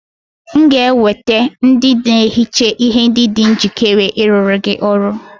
M ga-eweta ndị na-ehicha ihe ndị dị njikere ịrụrụ gị ọrụ